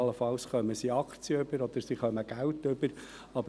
allenfalls erhalten sie Aktien oder sie erhalten Geld.